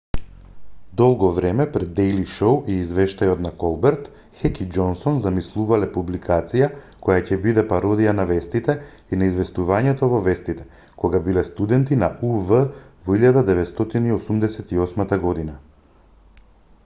долго време пред дејли шоу и извештајот на колберт хек и џонсон замислувале публикација која ќе биде пародија на вестите и на известувањето во вестите кога биле студенти на ув во 1988 година